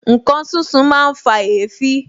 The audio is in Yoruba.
Ǹkan sísun máa ń fa èéfín